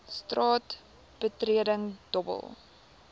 straat betreding dobbel